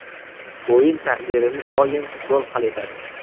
O‘yin taqdirini doim gol hal etadi.